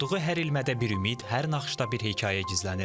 Toxuduğu hər ilmədə bir ümid, hər naxışda bir hekayə gizlənir.